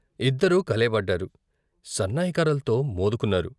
ఇద్దరూ కలియబడ్డారు, సన్నాయి కర్రల్తో మోదుకున్నారు.